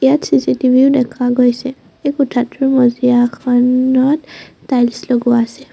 ইয়াত চি_চি টিভিও দেখা গৈছে এই কোঠাটোৰ মজিয়াখনত টাইলছ্ লগোৱা আছে।